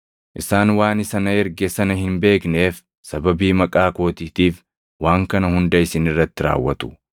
Isaan waan Isa na erge sana hin beekneef, sababii maqaa kootiitiif waan kana hunda isin irratti raawwatu.